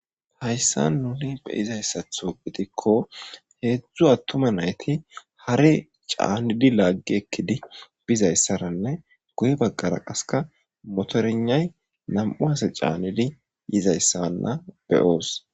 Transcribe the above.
hayssa nuni be7izayssatho gidikko heedzdzu attuma nayti hare caannidi laaggi ekkidi bizayssaranne guye baggara qaseka motorgnay nam7u ase caannidi yizayssawanna be7oos.